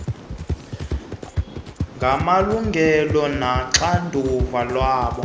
ngamalungelo noxanduva lwabo